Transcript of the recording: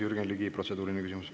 Jürgen Ligi, protseduuriline küsimus.